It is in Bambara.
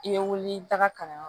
I bɛ wuli i bɛ taga kalanyɔrɔ